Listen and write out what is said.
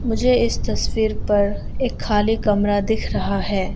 मुझे इस तस्वीर पर एक खाली कमरा दिख रहा है।